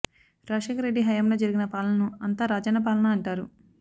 రాజశేఖర్ రెడ్డి హయాంలో జరిగిన పాలనను అంతా రాజన్న పాలన అంటారు